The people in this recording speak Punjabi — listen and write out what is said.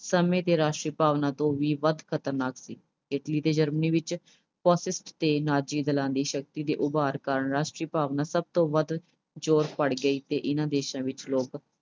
ਸਮੇਂ ਦੀ ਰਾਸ਼ਟਰੀ ਭਾਵਨਾ ਤੋਂ ਵੀ ਵੱਧ ਖਤਰਨਾਕ ਸੀ। Italy ਤੇ Germany ਵਿੱਚ fascist ਤੇ ਨਾਜ਼ੀ ਦਲਾਂ ਦੀ ਸ਼ਕਤੀ ਦੇ ਉਭਾਰ ਕਾਰਨ ਰਾਸ਼ਟਰੀ ਭਾਵਨਾ ਸਭ ਤੋਂ ਵੱਧ ਜ਼ੋਰ ਫੜ ਗਈ ਸੀ। ਇਨ੍ਹਾਂ ਦੇਸ਼ਾਂ ਵਿੱਚ ਲੋਕ